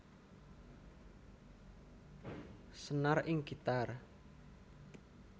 Senar ing gitar